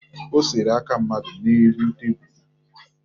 O sere aka mmadụ n'elu tebulu